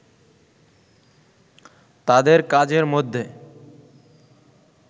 তাদের কাজের মধ্যে